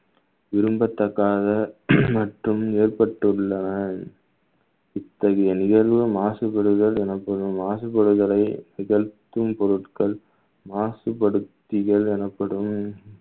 விரும்பத்தகாத மற்றும் ஏற்பட்டுள்ளன இத்தகைய நிகழ்வும் மாசுபடுதல் எனப்படும் மாசுபடுதலை நிகழ்த்தும் பொருட்கள் மாசுபடுத்துதியல் எனப்படும்